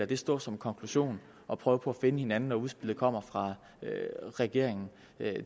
det stå som konklusionen og prøve på at finde hinanden når udspillet kommer fra regeringen